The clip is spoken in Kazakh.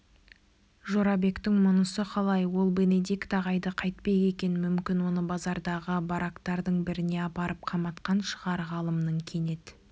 жорабектің мұнысы қалай ол бенедикт ағайды қайтпек екен мүмкін оны базардағы барактардың біріне апарып қаматқан шығар ғалымның кенет